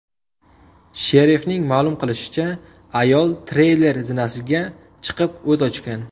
Sherifning ma’lum qilishicha, ayol treyler zinasiga chiqib, o‘t ochgan.